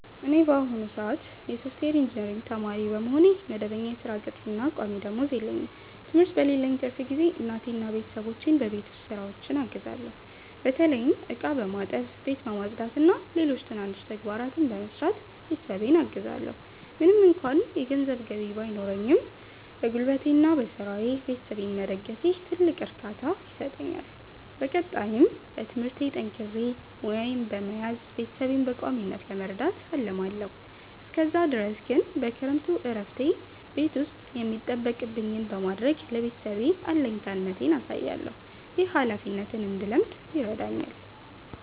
እኔ በአሁኑ ሰአት የሶፍትዌር ኢንጂነሪንግ ተማሪ በመሆኔ፣ መደበኛ የሥራ ቅጥርና ቋሚ ደመወዝ የለኝም። ትምህርት በሌለኝ ትርፍ ጊዜ እናቴንና ቤተሰቦቼን በቤት ውስጥ ሥራዎች አግዛለሁ። በተለይም ዕቃ በማጠብ፣ ቤት በማጽዳትና ሌሎች ትናንሽ ተግባራትን በመስራት ቤተሰቤን አግዛለዎ። ምንም እንኳ የገንዘብ ገቢ ባይኖረኝም፣ በጉልበቴና በሥራዬ ቤተሰቤን መደገፌ ትልቅ እርካታ ይሰጠኛል። በቀጣይም በትምህርቴ ጠንክሬ ሙያዬን በመያዝ ቤተሰቤን በቋሚነት ለመርዳት አልማለዎ። እስከዛ ድረስ ግን በክረምቱ እረፍቴ ቤት ውስጥ የሚጠበቅብኝን በማድረግ ለቤተሰቤ አለኝታነቴን አሳያለሁ። ይህ ኃላፊነትን እንድለምድ ይረዳኛል።